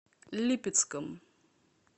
липецком